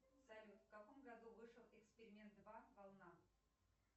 салют в каком году вышел эксперимент два волна